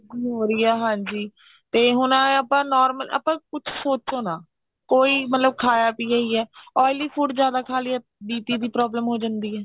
ਹੋ ਰਹੀ ਹੈ ਹਾਂਜੀ ਤੇ ਹੁਣ ਆਪਾਂ normal ਆਪਾਂ ਕੁੱਝ ਸੋਚੋ ਨਾ ਕੋਈ ਮਤਲਬ ਖਾਇਆ ਪਿਆ ਈ ਐ oily food ਜਿਆਦਾ ਖਾ ਲਿਆ BP ਦੀ problem ਜਿਆਦਾ ਹੋ ਜਾਂਦੀ ਐ